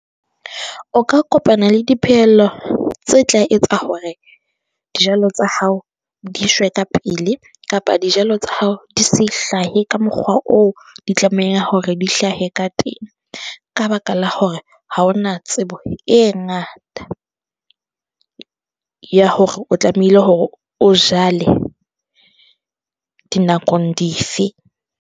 O ka kopana le dipehelo tse tla etsa hore, dijalo tsa hao di shwe ka pele, kapa dijalo tsa hao di se hlahe ka mokgwa, o o di tlameha hore di hlahe ka teng ka baka la hore ha ona tsebo e ngata ya hore o tlamehile hore o jale dinakong dife.